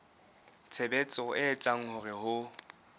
tshebetso e etsang hore ho